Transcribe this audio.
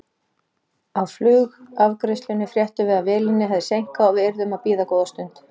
Á flugafgreiðslunni fréttum við að vélinni hefði seinkað og við yrðum að bíða góða stund.